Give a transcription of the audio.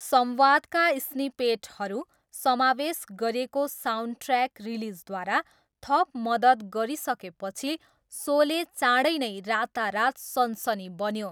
संवादका स्निपेटहरू समावेश गरिएको साउन्डट्र्याक रिलिजद्वारा थप मद्दत गरिसकेपछि, सोले चाँडै नै 'रातारात सनसनी' बन्यो।